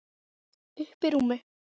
Uppí rúmi.